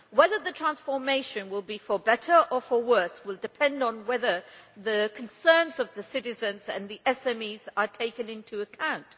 Whether the transformation will be for better or for worse will depend on whether the concerns of the citizens and the SMEs are taken into account.